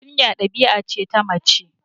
Kunya ɗabi'a ce ta mace